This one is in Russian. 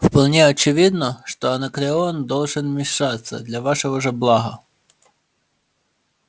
вполне очевидно что анакреон должен вмешаться для вашего же блага